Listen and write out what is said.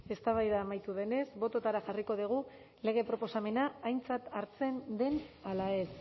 eztabaida amaitu denez bototara jarriko dugu lege proposamena aintzat hartzen den ala ez